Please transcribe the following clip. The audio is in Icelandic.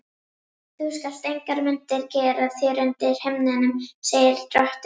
Þú skalt engar myndir gera þér undir himninum, segir drottinn.